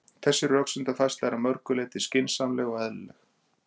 Þessi rökfærsla er að mörgu leyti skynsamleg og eðlileg.